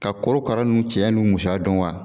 Ka korokara nn cɛya n'u musaya dɔn wa